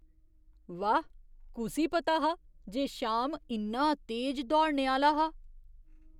वाह्! कुसी पता हा जे श्याम इन्ना तेज दौड़ने आह्‌ला हा?